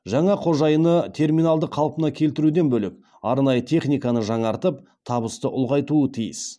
жаңа қожайыны терминалды қалпына келтіруден бөлек арнайы техниканы жаңартып табысты ұлғайтуы тиіс